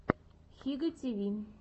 хига ти ви